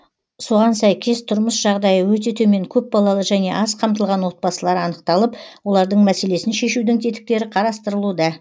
соған сәйкес тұрмыс жағдайы өте төмен көпбалалы және аз қамтылған отбасылар анықталып олардың мәселесін шешудің тетіктері қарастырылуда